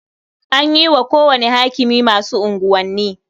An yi wa kowane hakimi masu unguwanni.